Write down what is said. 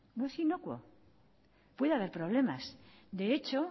no es inocuo puede haber problemas de hecho